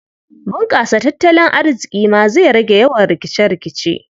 Bunƙasa tattalin arziƙi ma zai rage yawan rikice-rikice.